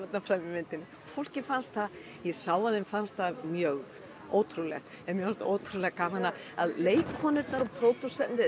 myndinni fólki fannst það ég sá að þeim fannst það mjög ótrúlegt en mér fannst ótrúlega gaman að leikkonurnar og pródúserarnir